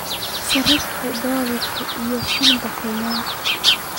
sarifka dollarka iyo shilinka Kenya